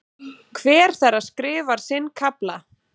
Hver þeirra skrifar sinn kafla.